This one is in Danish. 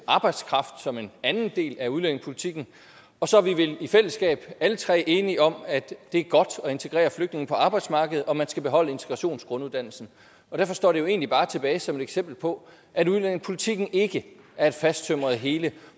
arbejdskraft som en anden del af udlændingepolitikken og så er vi vel i fællesskab alle tre enige om at det er godt at integrere flygtninge på arbejdsmarkedet og at man skal beholde integrationsgrunduddannelsen og derfor står det her jo egentlig bare tilbage som et eksempel på at udlændingepolitikken ikke er et fasttømret hele